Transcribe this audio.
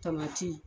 Tamati